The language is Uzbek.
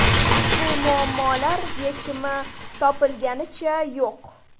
Ushbu muammolar yechimi topilganicha yo‘q.